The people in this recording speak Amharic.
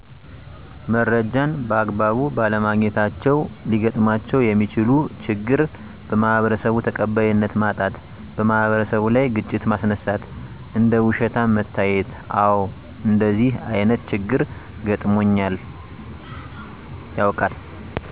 መረጃን በአግባቡ ባለማግኘታቸው ሊገጥማቸው የሚችለው ችግር:- - በማህበረሰቡ ተቃባይነት ማጣት - በማህበረሰቡ ላይ ግጭት ማስነሳት - እንደ ውሸታም መታየት አዎ እንደዚህ አይነት ችግር ገጥሞኝ ያውቃል።